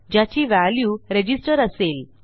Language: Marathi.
ज्याची व्हॅल्यू रजिस्टर असेल